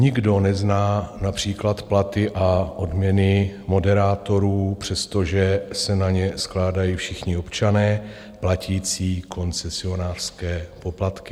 Nikdo nezná například platy a odměny moderátorů, přestože se na ně skládají všichni občané platící koncesionářské poplatky.